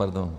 Pardon.